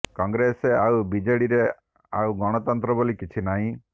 କଂଗ୍ରେସ ଆଉ ବିଜେଡିରେ ଆଉ ଗଣତନ୍ତ୍ର ବୋଲି କିଛି ନାହିଁ